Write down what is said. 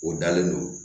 O dalen don